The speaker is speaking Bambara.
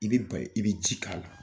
I be bay i be ji k'a la